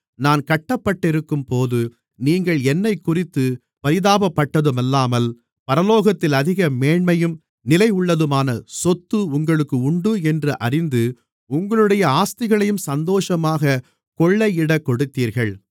நான் கட்டப்பட்டிருக்கும்போது நீங்கள் என்னைக்குறித்துப் பரிதாபப்பட்டதுமில்லாமல் பரலோகத்தில் அதிக மேன்மையும் நிலையுள்ளதுமான சொத்து உங்களுக்கு உண்டு என்று அறிந்து உங்களுடைய ஆஸ்திகளையும் சந்தோஷமாகக் கொள்ளையிடக் கொடுத்தீர்கள்